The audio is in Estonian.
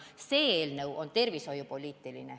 See eelnõu on aga tervishoiupoliitiline.